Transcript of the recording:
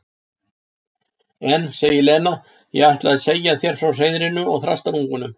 En, segir Lena, ég ætlaði að segja þér frá hreiðrinu og þrastarungunum.